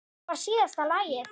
Það var síðasta lagið.